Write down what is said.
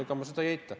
Ma ei eita seda.